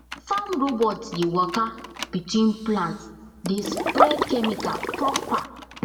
farm robot dey waka between plants dey spray chemical proper